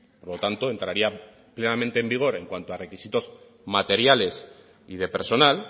por lo tanto entraría plenamente en vigor en cuanto a requisitos materiales y de personal